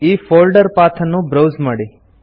ಈ folder path ಅನ್ನು browse ಮಾಡಿ